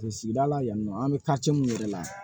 Sigida la yan nɔ an bɛ kati mun yɛrɛ la